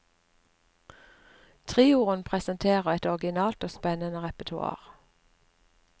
Trioen presenterer et originalt og spennede reportoar.